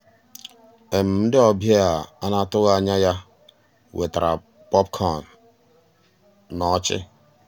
ndị́ ọ̀bịá á ná-àtụ́ghị́ ànyá yá wetàrà pọ̀pkọ̀n ná ọ́chị́.